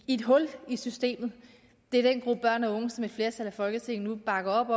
i et hul i systemet det er den gruppe børn og unge som et flertal i folketinget nu bakker op